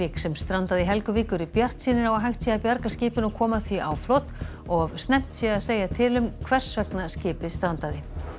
sem strandaði í Helguvík eru bjartsýnir á að hægt sé að bjarga skipinu og koma því á flot of snemmt sé að segja til um hvers vegna skipið strandaði